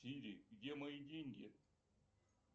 сири где мои деньги